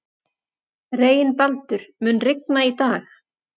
Reginbaldur, mun rigna í dag?